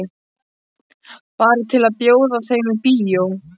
Bara til að bjóða þeim í bíó.